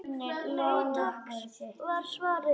Nei takk var svarið.